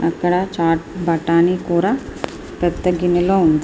ఇక్కడ చాట్ బటాని కూర పెద్ద గిన్నెలో ఉంది.